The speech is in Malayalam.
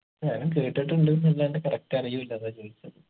ഞാനും കേട്ടിട്ടുണ്ട്ന്ന് അല്ലാണ്ട് correct അറിയൂല അതാ ചോദിച്ചത്